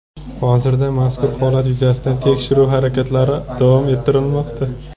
Hozirda mazkur holat yuzasidan tekshiruv harakatlari davom ettirilmoqda.